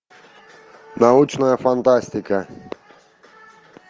научная фантастика